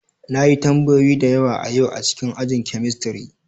Na yi tambayoyi da yawa a yau a cikin ajin chemistry.